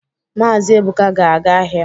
Maazi Ebuka ga-aga ahịa.